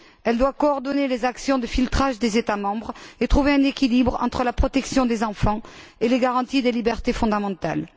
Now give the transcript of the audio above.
Elle doit coordonner les actions de filtrage des États membres et trouver un équilibre entre la protection des enfants et les garanties des libertés fondamentales.